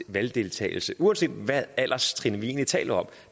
valgdeltagelse uanset hvad alderstrin vi egentlig taler om